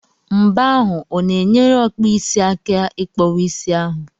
Mbọ ahụ o na-enyere ọkpụisi aka ị kpọwa isi ahụ?